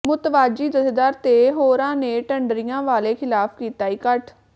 ਮੁਤਵਾਜ਼ੀ ਜਥੇਦਾਰ ਤੇ ਹੋਰਾਂ ਨੇ ਢੱਡਰੀਆਂ ਵਾਲੇ ਖ਼ਿਲਾਫ਼ ਕੀਤਾ ਇਕੱਠ